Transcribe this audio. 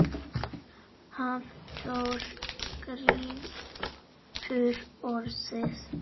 Hafþór grípur orðið.